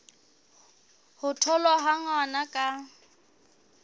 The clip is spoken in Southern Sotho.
ho tholwa ha ngwana ka